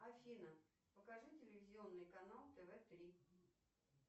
афина покажи телевизионный канал тв три